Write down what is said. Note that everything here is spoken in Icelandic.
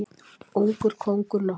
Ungur kóngur nokkur.